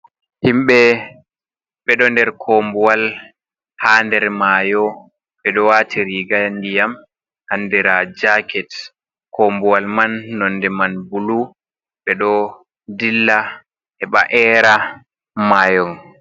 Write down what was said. Himɓe ɓeɗo nder kombuwal ha nder mayo. Ɓeɗo waati riga ndiyam andira jacket. Kombuwal man nonde man bulu. Ɓeɗo dilla heɓa era mayon.